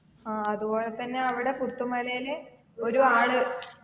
ആ അതുപോലെ തന്നെ അവിടെ പുത്താമലയിലെ ഒരു ആള്